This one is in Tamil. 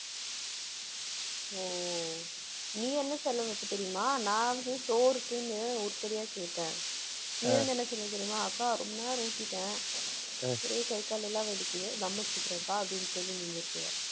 ஓ நீ என்ன செலவு வைப்ப தெரியுமா? நான் வந்து சோறுக்குன்னு உருப்படியா கேட்டேன். நீ வந்து என்ன சொல்வே தெரியுமா அக்கா ரொம்ப நேரம் ஓட்டிட்டேன். ஒரே கை, கால் எல்லாம் வலிக்குது தம் அடிச்சிக்கிறேன்கா அப்படின்னு சொல்லி நீ நிறுத்துவே.